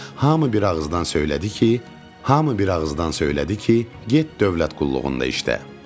Hamı bir ağızdan söylədi ki, hamı bir ağızdan söylədi ki, get dövlət qulluğunda işlə.